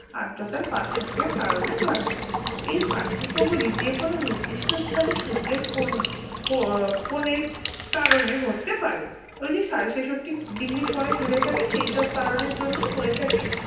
আর্দ্রতার পার্থক্যের কারণে ঘটে এই পার্থক্য গুলি যে কোন নির্দিষ্ট স্থানে সূর্যের কোন কো~ কোনের কারণে হতে পারে ওইযে সাড়ে ছেষট্টি degree কোণে হেলে থাকে সেইসব কারণের জন্যেই হয়ে থাকে